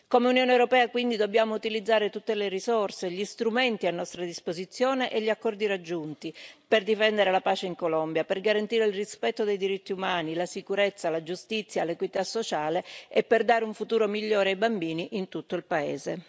Come Unione europea, quindi, dobbiamo utilizzare tutte le risorse, tutti gli strumenti a nostra disposizione e gli accordi raggiunti per difendere la pace in Colombia, per garantire il rispetto dei diritti umani, la sicurezza, la giustizia e l'equità sociale e per dare un futuro migliore ai bambini in tutto il paese.